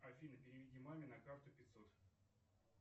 афина переведи маме на карту пятьсот